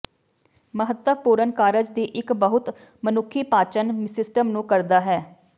ਮਹੱਤਵਪੂਰਨ ਕਾਰਜ ਦੀ ਇੱਕ ਬਹੁਤ ਮਨੁੱਖੀ ਪਾਚਨ ਸਿਸਟਮ ਨੂੰ ਕਰਦਾ ਹੈ